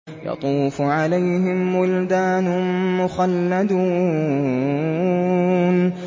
يَطُوفُ عَلَيْهِمْ وِلْدَانٌ مُّخَلَّدُونَ